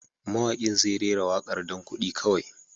Mawaƙin zai rera waƙar don kuɗi kawai.